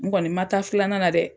N kɔni ma taa filanan na dɛ.